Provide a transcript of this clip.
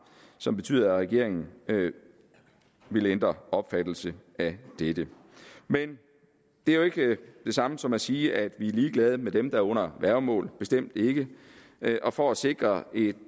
som betyder at regeringen vil ændre opfattelse af dette men det er jo ikke det samme som at sige at vi er ligeglad med dem der er under værgemål bestemt ikke og for at sikre et